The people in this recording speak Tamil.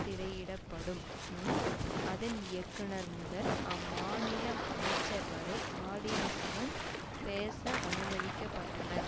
திரையிடப்படும் முன் அதன் இயக்குனர் முதல் அம்மாநில அமைச்சர்வரை ஆடியன்ஸ் முன் பேச அனுமதிக்க பட்டனர்